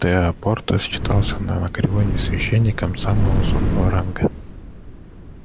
тео апорта считался на анакреоне священником самого высокого ранга